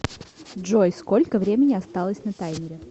джой сколько времени осталось на таймере